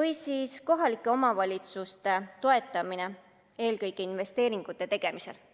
või siis kohalike omavalitsuste toetamine eelkõige investeeringute tegemisel.